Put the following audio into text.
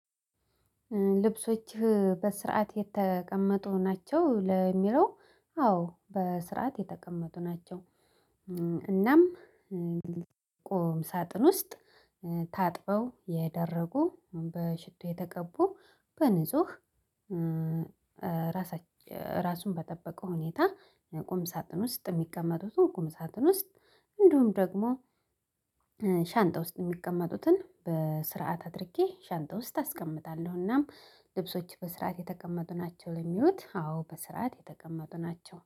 ልብሶችህ በስርዓት የተቀመጡ ናቸው ለሚለው አዎ በስርዓት የተቀመጡ ናቸው። እናም ቆም ሳጥን ውስጥ ታጥበው የደረቁ በሽቶ የተቀቡ በንጹህ ራሱን በጠበቀ ሁኔታ። ቁም ሳጥን ውስጥ የሚቀመጡት ቁም ሳጥን ውስጥ እንዲሁም ደግሞ ሻንጣ ውስጥ የሚቀመጡትን በስርዓት አድርጌ ሻንጣ ውስጥ አስቀምጣለሁና። ልብሶች በስርዓት የተቀመጡ ናቸው ለሚሉት አዎ በስርዓት የተቀመጡ ናቸው